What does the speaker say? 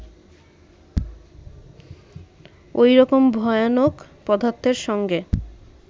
ঐরকম ভয়ানক পদার্থের সঙ্গে